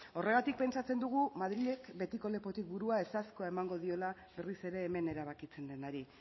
horregatik pentsatzen dugu madrilek betiko lepotik burua ezezkoa emango diola berriz ere hemen erabakitzen denari